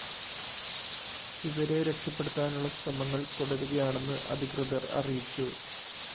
ഇവരെ രക്ഷപ്പെടുത്താനുള്ള ശ്രമങ്ങള്‍ തുടരുകയാണെന്ന് അധികൃതര്‍ അറിയിച്ചു